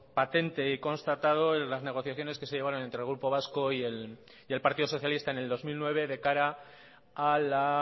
patente y constatado en las negociaciones que se llevaron entre el grupo vasco y el partido socialista en el dos mil nueve de cara a la